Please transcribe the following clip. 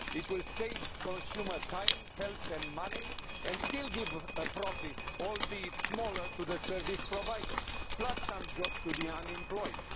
It will save consumer time, health and money and still give a profit, albeit smaller, to the service provider, plus some jobs to the unemployed.